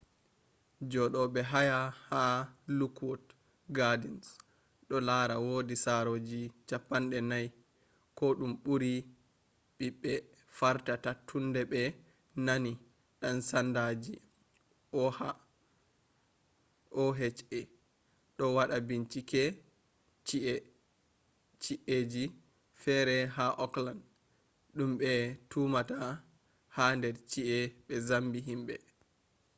jodobe haya ha lookwood gardens do lara wodi saroji 40 ko dum buri be'be fartata tunde be nani dan-sandaji oha do wada bincike ci'a ji fere ha oakland dum be tumata hader ci'a be zambi himbe